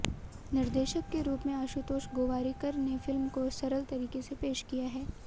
निर्देशक के रूप में आशुतोष गोवारीकर ने फिल्म को सरल तरीके से पेश किया है